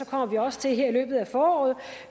kommer vi også til her i løbet af foråret